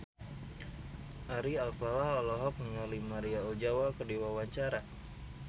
Ari Alfalah olohok ningali Maria Ozawa keur diwawancara